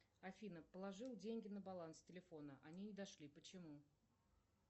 афина положила деньги на баланс телефона они не дошли почему